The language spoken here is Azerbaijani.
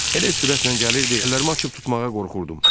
Elə sürətlə gəlirdi, əllərimi açıb tutmağa qorxurdum.